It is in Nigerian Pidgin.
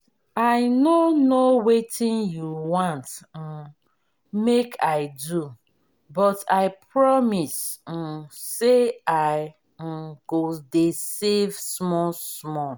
i no know wetin you want um make i do but i promise um say i um go dey save small small